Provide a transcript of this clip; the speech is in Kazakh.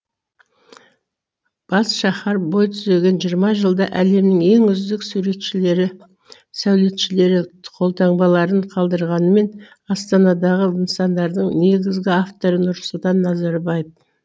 бас шаһар бой түзген жиырма жылда әлемнің ең үздік суретшілері сәулетшілері қолтаңбаларын қалдырғанымен астанадағы нысандардың негізгі авторы нұрсұлтан назарбаев